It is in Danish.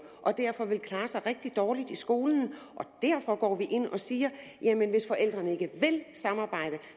og derfor vil klare sig rigtig dårligt i skolen og derfor går vi ind og siger hvis forældrene ikke vil samarbejde